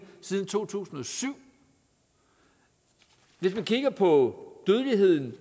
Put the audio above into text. siden to tusind og syv hvis man kigger på dødeligheden